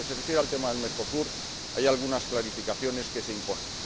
En lo que se refiere al tema de Mercosur, hay algunas clarificaciones que se imponen.